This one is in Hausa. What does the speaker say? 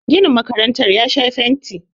ginin makarantar ya Sha fenti